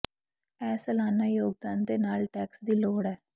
ਇਹ ਸਾਲਾਨਾ ਯੋਗਦਾਨ ਦੇ ਨਾਲ ਟੈਕਸ ਦੀ ਲੋੜ ਹੈ